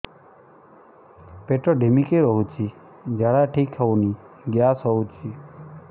ପେଟ ଢିମିକି ରହୁଛି ଝାଡା ଠିକ୍ ହଉନି ଗ୍ୟାସ ହଉଚି